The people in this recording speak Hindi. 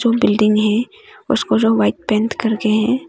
बिल्डिंग है उसको जो वाइट पेंट करके हैं।